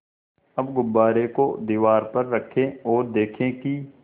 अब गुब्बारे को दीवार पर रखें ओर देखें कि